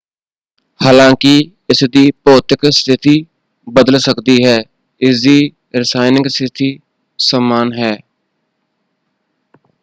ਹਾਲਾਂਕਿ ਇਸਦੀ ਭੌਤਿਕ ਸਥਿਤੀ ਬਦਲ ਸਕਦੀ ਹੈ ਇਸਦੀ ਰਸਾਇਣਕ ਸਥਿਤੀ ਸਮਾਨ ਹੈ।